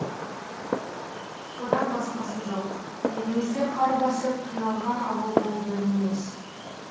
одан басқасы жоқ елімізде қар басып қиналған ауыл бұл бір емес